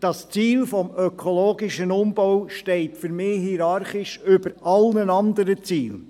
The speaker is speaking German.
Das Ziel des ökologischen Umbaus steht für mich hierarchisch über allen anderen Zielen.